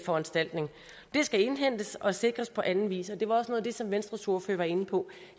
foranstaltning det skal indhentes og sikres på anden vis og det var også noget af det som venstres ordfører var inde på